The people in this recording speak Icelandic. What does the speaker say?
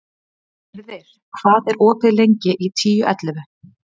Gyrðir, hvað er opið lengi í Tíu ellefu?